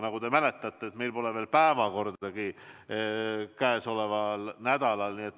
Nagu te mäletate, meil pole veel päevakordagi käesoleval nädalal kinnitatud.